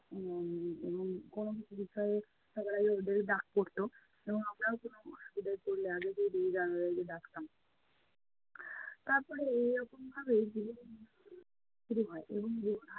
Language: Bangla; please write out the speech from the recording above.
উম কোনো কিছু বিষয়ে সবার আগে ওদেরই ডাক পড়তো এবং আমরাও কোনো অসুবিধায় পড়লে আগে তারপরে এই রকম ভাবেই জীবনের~জীবন শুরু হয়য়।